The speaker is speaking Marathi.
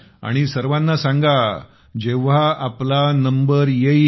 आणि सर्वाना सांगा जेव्हा आपला नंबर येईल